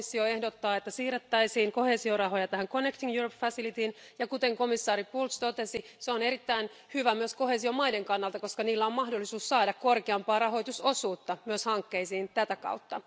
Komissio ehdottaa, että siirrettäisiin koheesiorahoja tähän Verkkojen Eurooppa välineeseen, ja kuten komissaari Bulc totesi, se on erittäin hyvä myös koheesiomaiden kannalta, koska niillä on mahdollisuus saada korkeampaa rahoitusosuutta hankkeisiin tätä kautta.